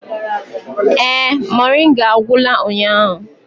Ee, moringa agwụla ụnyahụ.